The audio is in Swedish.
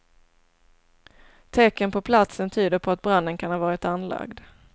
Tecken på platsen tyder på att branden kan ha varit anlagd.